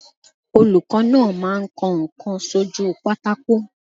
Olùkọ́ náà máa ń kọ ǹkan sójúu pátákó.